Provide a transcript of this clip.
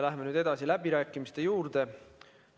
Läheme nüüd edasi läbirääkimiste juurde.